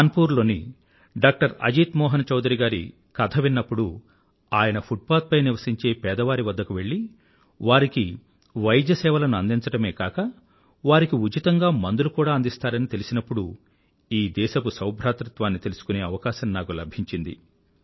కాన్పూర్ లోని డాక్టర్ అజీత్ మోహన్ చౌధరీ గారి కథ విన్నప్పుడు ఆయన ఫుట్పాత్ పై నివసించే పేదవారి వద్దకు వెళ్ళి వారికి వైద్యసేవలను అందించడమే కాక వారికి ఉచితంగా మందులు కూడా అందిస్తారని తెలిసినప్పుడు ఈ దేశపు సౌభాతృత్వాన్ని తెలుసుకునే అవకాశం నాకు లభించింది